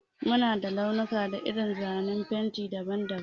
Mu na da launuka da irin zane na fenti daban-daban.